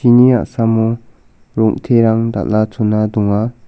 a·samo rong·terang dal·a chona donga.